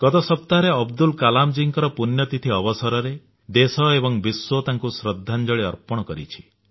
ଗତ ସପ୍ତାହରେ ଅବଦୁଲ କଲାମ ଜୀଙ୍କର ପୁଣ୍ୟତିଥି ଅବସରରେ ଦେଶ ଏବଂ ବିଶ୍ୱ ତାଙ୍କୁ ଶ୍ରଦ୍ଧାଞ୍ଜଳି ଅର୍ପଣ କରିଛି